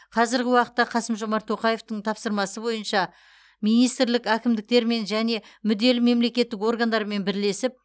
қазіргі уақытта қасым жомарт тоқаевтың тапсырмасы бойынша министрлік әкімдіктермен және мүдделі мемлекеттік органдармен бірлесіп